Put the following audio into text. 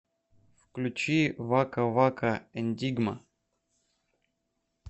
включи вака вака эндигма